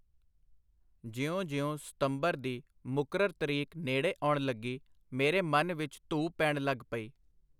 ਜਿਉਂ-ਜਿਉਂ ਸਤੰਬਰ ਦੀ ਮੁਕਰਰ ਤਰੀਕ ਨੇੜੇ ਆਉਣ ਲੱਗੀ, ਮੇਰੇ ਮਨ ਵਿਚ ਧੂਹ ਪੈਣ ਲੱਗ ਪਈ.